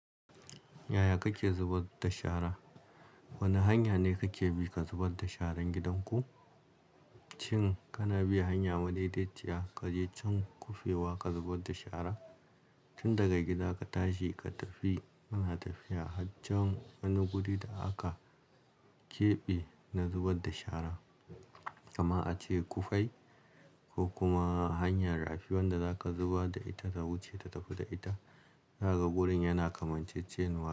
Yaya kake zubar da shara? Wane hanya ne kake bi ka zubar da sharan gidanku? Shin kana biya hanya madaidaiciya, ka je can kufewa ka zubar da shara? Tun daga gida ka tashi ka tafi, kana tafiya haccan wani guri da aka keɓe na zubar da shara, kama a ce kufai ko kuma hanyar rafi wanda zaka zuba da ita, ta wuce ta tafi da ita. Naga burin yana kamancecenuwa.